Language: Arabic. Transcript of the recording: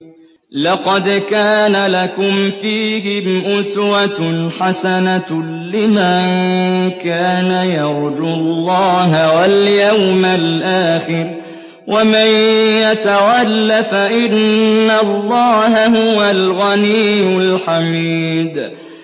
لَقَدْ كَانَ لَكُمْ فِيهِمْ أُسْوَةٌ حَسَنَةٌ لِّمَن كَانَ يَرْجُو اللَّهَ وَالْيَوْمَ الْآخِرَ ۚ وَمَن يَتَوَلَّ فَإِنَّ اللَّهَ هُوَ الْغَنِيُّ الْحَمِيدُ